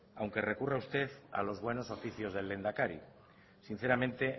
aunque recurra usted a los buenos oficios del lehendakari sinceramente